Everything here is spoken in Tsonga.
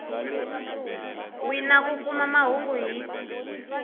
wina ku kuma mahungu hi